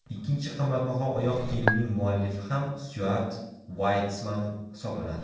Ikkinchi qimmatbaho oyoq kiyimning muallifi ham Styuart Vaytsman hisoblanadi.